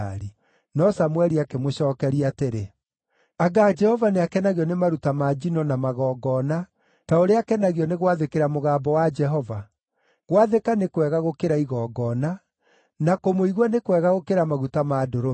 No Samũeli akĩmũcookeria atĩrĩ, “Anga Jehova nĩakenagio nĩ maruta ma njino na magongona ta ũrĩa akenagio nĩ gwathĩkĩra mũgambo wa Jehova? Gwathĩka nĩ kwega gũkĩra igongona, na kũmũigua nĩ kwega gũkĩra maguta ma ndũrũme.